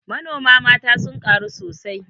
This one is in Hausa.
Manoma mata sun ƙaru sosai